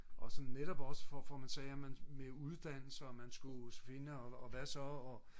og så netop også hvor man sagde med uddannelse og man skulle finde og hvad så og